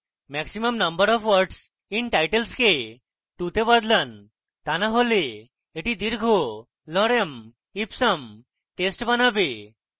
maximum number of words in titles কে 2 তে বদলান তা না করলে এটি দীর্ঘ lorem ipsum টেস্ট বানাবে